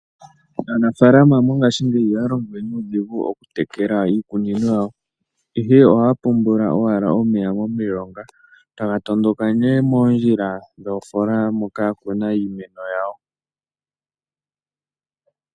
Aanafaalama mongaashingeyi ihaya longo nuudhigu oku tekela iikunino yawo ihe ohaya pungula owala omeya momilonga, taga tondoka nee moondjila dhoofola moka ya kuna iimeno yawo.